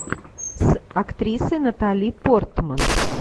с актрисой натали портман